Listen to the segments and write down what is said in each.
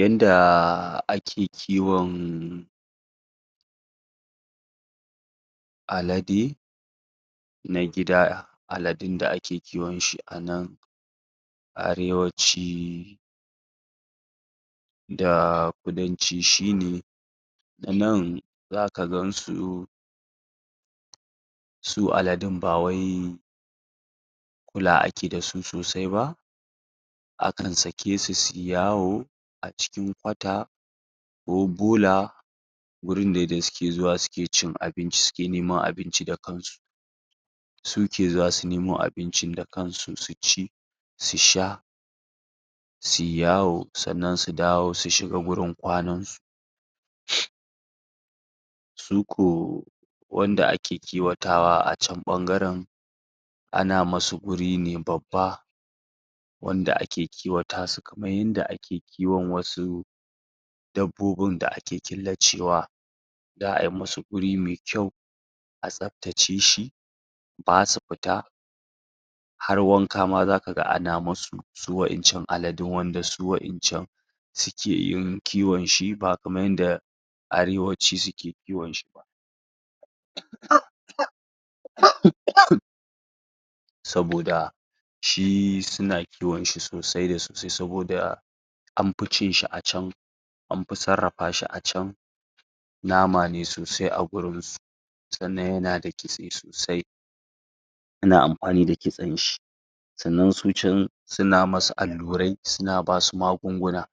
yanda ake kiwon alade na gida aladun da ake kiwon shi a nan arewaci da kudanci shine na nan zaka gansu su aladun ba wai kula ake dasu sosai ba akan sake su suyi yawo a cikin kwata ko bola wurin de da suke zuwa suke cin abinci suke neman abinci da kansu su ke zuwa su nemo abincin da kansu su ci su sha suyi yawo sannan su dawo su shiga gurin kwanan su? su ko wanda ake kiwatawa a can ɓangaren ana musu guri ne babba wanda ake kiwata su kaman yanda ake kiwon wasu dabbobin da ake killacewa za'ai musu guri mai kyau a tsaptace shi ba su pita har wanka ma zaka ga ana musu su wa'incan aladun wanda su wa'incan suke yin kiwon shi ba kaman yanda arewaci suke kiwonshi??? saboda shi suna kiwonshi sosai da sosai saboda an pi cin shi a can an pi sarrapa shi a can nama ne sosai a gurin su sannan yana da kitse sosai ana ampani da kitsen shi sannan su can suna musu allurai suna basu magunguna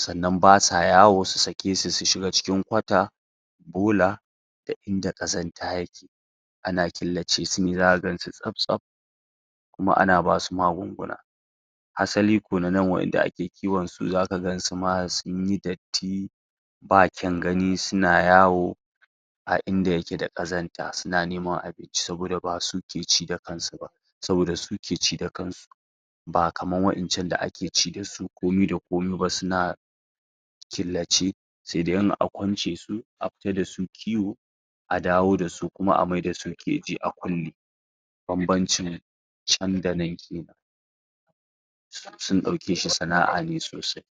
sannan ba sa yawo su sake su su shiga cikin kwata bola da inda ƙazanta yake ana killace su ne zaka gansu tsap tsap kuma ana basu magunguna asali kuwa na nan wa'inda ake kiwon su zaka gansu ma sunyi datti ba kyan gani suna yawo a inda yake da ƙazanta suna neman abinci saboda basu ke ci da kansu ba saboda su ke ci da kansu ba kaman wa'incan da ake ci dasu komai da komai ba suna killace sai dai in a kwance su a pita dasu kiwo a dawo dasu kuma a mai da su keji a kulle bambamcin can da nan kenan sun ɗauke shi sana'a ne sosai?